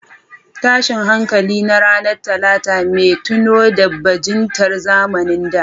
Tashin hankali na ranar Talata, mai tuno da bajintar zamanin da.